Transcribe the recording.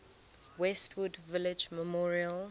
westwood village memorial